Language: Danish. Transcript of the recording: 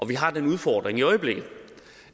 vi har den udfordring i øjeblikket